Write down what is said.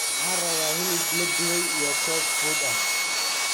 waxaan rabba hilib la dube iyo koob fuud ahh